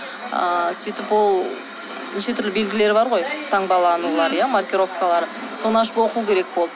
ыыы сөйтіп ол неше түрлі белгілері бар ғой таңбаланулары иә маркировкалары соны ашып оқу керек болды